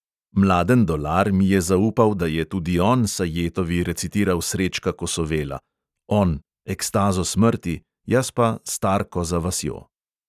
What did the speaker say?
Mladen dolar mi je zaupal, da je tudi on sajetovi recitiral srečka kosovela (on – ekstazo smrti, jaz pa starko za vasjo)!